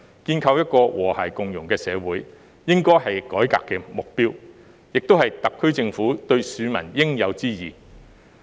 建構一個和諧共融的社會，應該是改革的目標，也是特區政府對市民的應有之義。